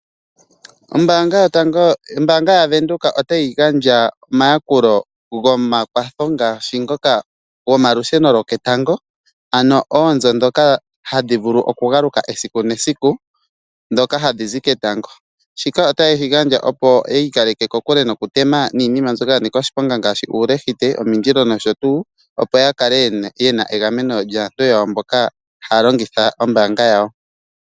Ombanga yaVenduka otayi gandja omayakulo gomakwatho ngaashi ngoka gomalusheno goketango. Ano oonzo dhoka hadhi vulu oku galuka esiku nesiku dhoka hadhi zi ketango. Shika otaye shi gandja opo yi ikaleke ko kule niinima mbyoka hayi tma ngaashi uulehite omindilo noshotuu. Opo ya kale yena egameno lyaantu mboka haya longitha ombanga yawo.